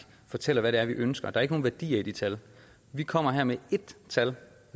fortæller hvad det er vi ønsker der er ikke nogen værdier i de tal vi kommer her med ét tal